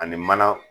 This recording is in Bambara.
Ani mana